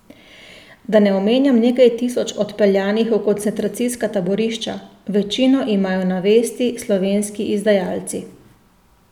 Da ne omenjam nekaj tisoč odpeljanih v koncentracijska taborišča, večino imajo na vesti slovenski izdajalci.